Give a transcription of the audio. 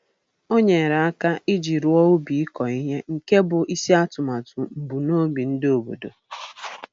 O nyere aka iji rụọ ubi ịkọ ihe nke bụ isi atụmatụ mbunobi ndị obodo